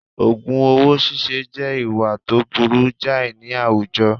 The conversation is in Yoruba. Ògùn owó síse jẹ́ ìwà tó burú jàì ní àwùjọ